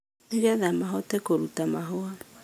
nĩgetha mahote kũruta mahũa.